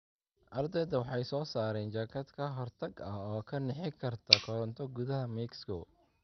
Ardaydu waxay soo saaraan jaakad ka hortag ah oo ka nixi karta koronto gudaha Mexico